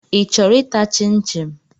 Ị chọrọ ịta chịm chịm?